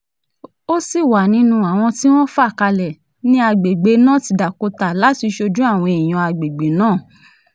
ó sì wà nínú àwọn tí wọ́n fà kalẹ̀ ní àgbègbè north dakota láti ṣojú àwọn èèyàn àgbègbè náà